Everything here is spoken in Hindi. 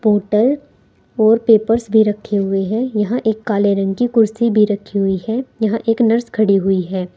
बोटल और पेपर्स में रखे हुए हैं यहां एक काले रंग की कुर्सी भी रखी हुई है यहां एक नर्स खड़ी हुई है।